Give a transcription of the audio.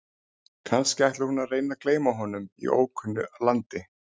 Kannski ætlar hún að reyna að gleyma honum í ókunnu landi?